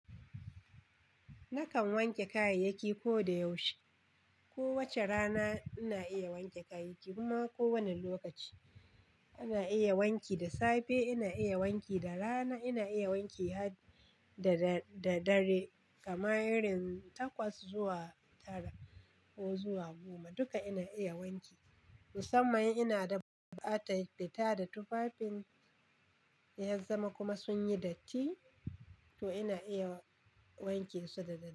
Nakan wanke kayayyaki ko da yaushe. Ko wace rana ina iya wanke kayayyaki kuma ko wane lokaci. Ina iya wanki da safe, ina iya wanki da rana, ina iya wanki da dare kamar irin takwas zuwa tara ko zuwa goma. Duka ina iya wanki. Musamman ina da bukatar fita da tufafin yan zama kuma sun yi datti to ina iya wanke su da dare.